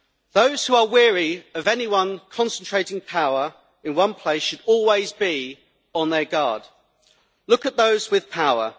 Those who are wary of anyone concentrating power in one place should always be on their guard. Look at those with power.